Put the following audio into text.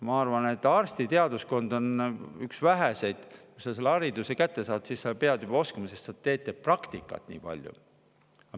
Ma arvan, et arstiteaduskond on üks väheseid, kus hariduse kätte saades pead sa juba oskama, sest te teete nii palju praktikat.